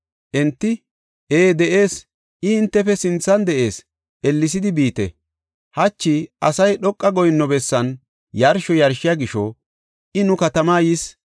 Enti, “Ee de7ees; I hintefe sinthan de7ees; ellesidi biite. Hachi asay dhoqa goyinno bessan yarsho yarshiya gisho, I nu katamaa yis.